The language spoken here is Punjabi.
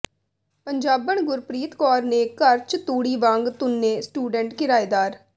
ਪੰਜਾਬਣ ਗੁਰਪ੍ਰੀਤ ਕੌਰ ਨੇ ਘਰ ਚ ਤੂੜੀ ਵਾਂਗ ਤੁੰਨੇ ਸਟੂਡੈਂਟ ਕਿਰਾਏਦਾਰ